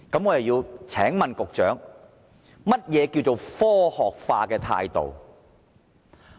我請問局長，何謂科學化的態度？